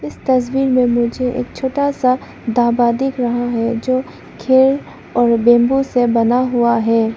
इस तस्वीर में मुझे एक छोटा सा ढाबा दिख रहा है जो खेर और बेम्बू से बना हुआ है।